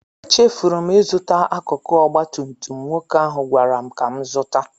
Echefuru m ịzụta akụkụ ọgba tum tum nwoke ahụ gwara m ka m zụta